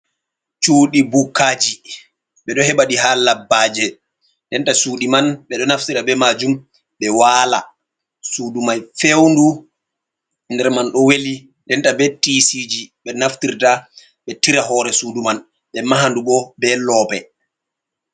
Shudi bukkaji, ɓeɗo heɓa ɗi ha labbaje, ndenta shuuɗi man ɓeɗo naftira be majum ɓe wala, sudu mai fewndu nder man do weli, denta be tisiji ɓe naftirta ɓe tira hore suudu man ɓe maha ndu bo be loope.